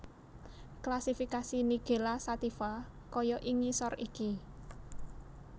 Klasifikasi Nigella Sativa kaya ing ngisor iki